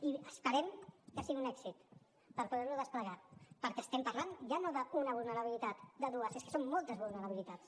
i esperem que sigui un èxit per poder ho desplegar perquè estem parlant ja no d’una vulnerabilitat de dues és que són moltes vulnerabilitats